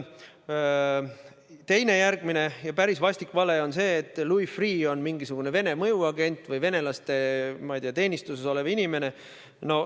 Teine, järgmine ja päris vastik vale on see, et Louis Freeh on mingisugune Vene mõjuagent või venelaste, ma ei tea, teenistuses olev inimene.